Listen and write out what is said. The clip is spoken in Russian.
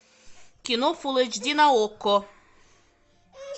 кино фул эйч ди на окко